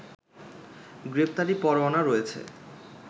গ্রেপ্তারি পরোয়ানা রয়েছে